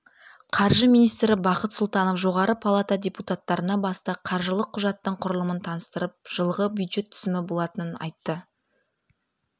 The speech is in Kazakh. қаржы министрі бақыт сұлтанов жоғары палата депутаттарына басты қаржылық құжаттың құрылымын таныстырып жылғы бюджет түсімі болатынын айтты